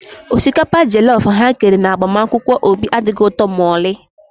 Osikapa jọllọf ha kere na agbamakwụkwọ Obi adịghị ụtọ ma ọlị